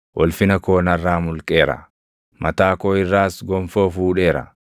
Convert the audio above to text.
Ulfina koo narraa mulqeera; mataa koo irraas gonfoo fuudheera.